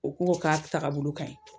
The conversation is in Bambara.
U ko ko k'a tagabolo ka ɲi.